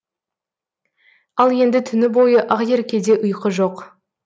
ал енді түні бойы ақеркеде ұйқы жоқ